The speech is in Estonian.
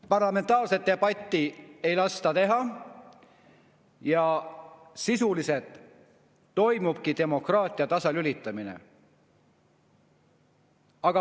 Parlamentaarset debatti ei lasta teha ja sisuliselt toimubki demokraatia tasalülitamine.